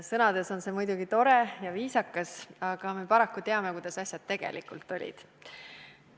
Sõnades on see muidugi tore ja viisakas, aga me paraku teame, kuidas asjad tegelikult olid.